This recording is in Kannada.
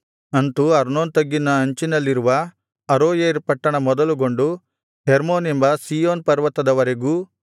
ಅಂತು ಅರ್ನೋನ್ ತಗ್ಗಿನ ಅಂಚಿನಲ್ಲಿರುವ ಅರೋಯೇರ್ ಪಟ್ಟಣ ಮೊದಲುಗೊಂಡು ಹೆರ್ಮೋನ್ ಎಂಬ ಸೀಯೋನ್ ಪರ್ವತದವರೆಗೂ ಮತ್ತು